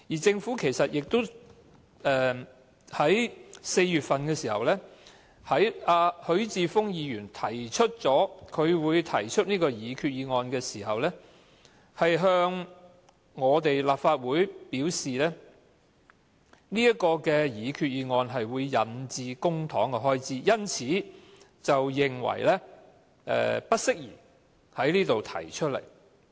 在今年4月份，當許智峯議員表示將會提出這項擬議決議案時，政府向立法會表示這項擬議決議案會引致公帑的支出，因此認為不適宜在立法會提出。